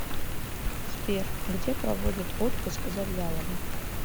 сбер где проводит отпуск завьялова